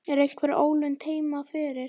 Er einhver ólund heima fyrir?